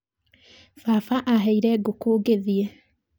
Baba aheire ngũkũ ngĩthiĩ